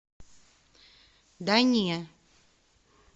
да не